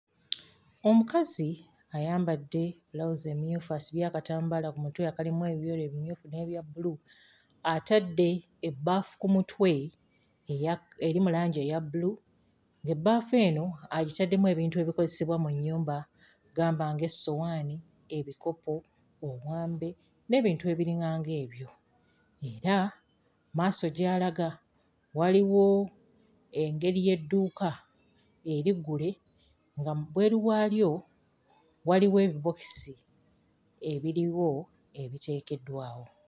Omukazi ayambadde bulawuzi emmyufu, asibye akatambaala ku mutwe akalimu ebyeru, ebimyufu n'ebya bbulu. Atadde ebbaafu ku mutwe eya... erimu langi eya bbulu, ng'ebbaafu eno agitaddemu ebintu ebikozesebwa mu nnyumba, gamba ng'essowaani, ebikopo, omwambe n'ebintu ebiringa ng'ebyo era mu maaso gy'alaga waliwo engeri y'edduuka eriggule nga wabweru waalyo waliwo ebibookisi ebiriwo ebiteekeddwawo.